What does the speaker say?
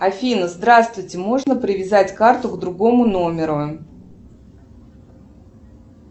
афина здравствуйте можно привязать карту к другому номеру